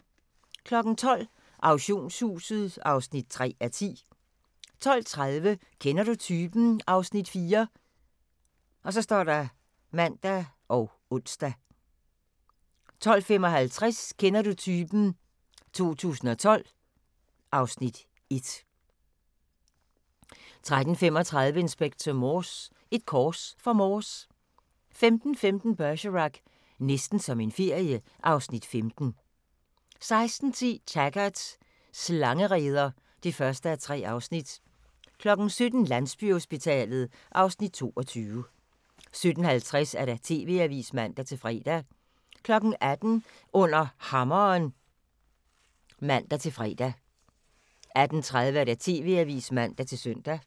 12:00: Auktionshuset (3:10) 12:30: Kender du typen? (Afs. 4)(man og ons) 12:55: Kender du typen? 2012 (Afs. 1) 13:35: Inspector Morse: Et kors for Morse 15:15: Bergerac: Næsten som en ferie (Afs. 15) 16:10: Taggart: Slangereder (1:3) 17:00: Landsbyhospitalet (Afs. 22) 17:50: TV-avisen (man-fre) 18:00: Under Hammeren (man-fre) 18:30: TV-avisen (man-søn)